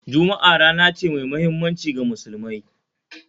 Juma'a rana ce mai muhimmanci ga Musulmai